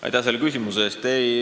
Aitäh selle küsimuse eest!